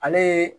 Ale ye